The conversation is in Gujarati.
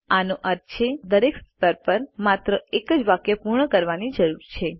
આનો અર્થ છે આપણે દરેક સ્તર પર માત્ર એક જ વાક્ય પૂર્ણ કરવાની જરૂર છે